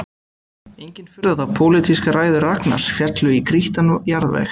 Engin furða þótt pólitískar ræður Ragnars féllu í grýttan jarðveg